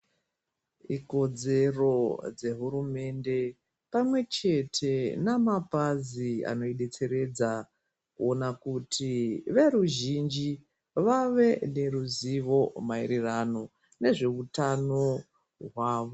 Ikodzero dzehumunde pamwe chete ne mapazi ano idetseredza kuona kuti veruzhinji vave neruzivo maererano nezveutano hwavo.